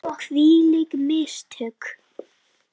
Hvílík mistök!